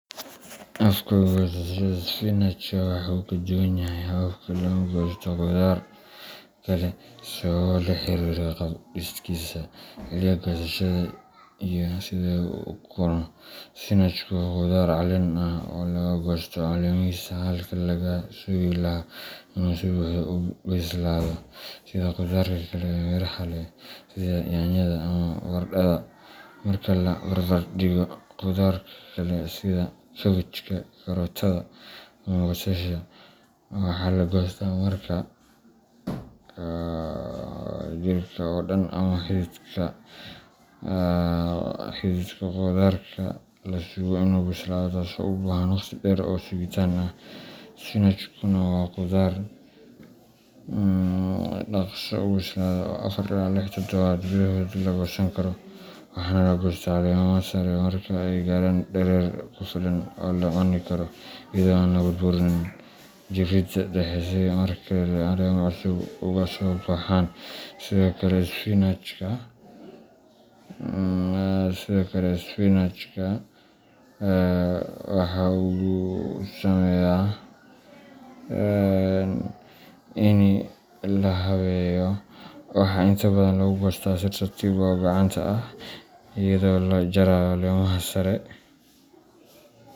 Habka goosashada isbinaajka waxa uu ka duwan yahay hababka lagu goosto khudaarka kale sababo la xiriira qaab dhiskiisa, xilliga goosashada, iyo sida uu u koro. Isbinaajku waa khudaar caleen ah oo laga goosto caleemihiisa halkii laga sugi lahaa inuu si buuxda u bislaado sida khudaarka kale ee miraha leh sida yaanyada ama baradhada. Marka la barbardhigo, khudaarka kale sida kaabajka, karootada ama basasha, waxa la goostaa marka jirka oo dhan ama xididka khudaarka la sugo inuu bislaado, taasoo u baahan waqti dheer oo sugitaan ah. Isbinaajkuna waa khudaar dhakhso u bislaada oo afar ilaa lix toddobaad gudahood la goosan karo, waxaana la goostaa caleemaha sare marka ay gaaraan dherer ku filan oo la cuni karo, iyadoo aan la burburin jirridda dhexe si mar kale caleemo cusub uga soo baxaan. Sidoo kale, isbinaajka waxaa inta badan lagu goostaa si tartiib ah oo gacanta ah, iyadoo la jarayo caleemaha sare.